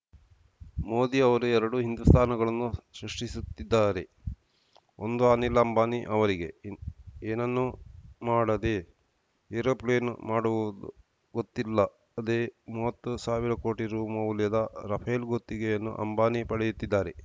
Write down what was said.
ಮೋದಿ ಅವರು ಎರಡು ಹಿಂದುಸ್ತಾನಗಳನ್ನು ಸೃಷ್ಟಿಸುತ್ತಿದ್ದಾರೆ ಒಂದು ಅನಿಲ್‌ ಅಂಬಾನಿ ಅವರಿಗೆ ಏನನ್ನೂ ಮಾಡದೇ ಏರೋಪ್ಲೇನ್‌ ಮಾಡುವುದು ಗೊತ್ತಿಲ್ಲದೇ ಮುವತ್ತು ಸಾವಿರ ಕೋಟಿ ರು ಮೌಲ್ಯದ ರಫೇಲ್‌ ಗುತ್ತಿಗೆಯನ್ನು ಅಂಬಾನಿ ಪಡೆಯುತ್ತಿದ್ದಾರೆ